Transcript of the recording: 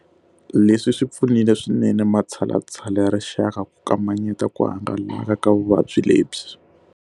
Leswi swi pfunile swinene matshalatshala ya rixaka ku kamanyeta ku hangalaka ka vuvabyi lebyi.